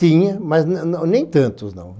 Tinha, mas não não nem tantos, não.